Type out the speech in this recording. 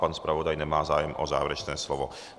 Pan zpravodaj nemá zájem o závěrečné slovo.